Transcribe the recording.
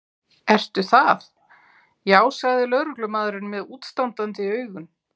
Ertu það, já sagði lögreglumaðurinn með útstandandi augun.